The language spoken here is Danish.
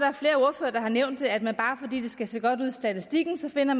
at der har nævnt at man bare fordi det skal se godt ud i statistikken finder